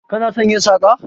Kana son yin saƙa?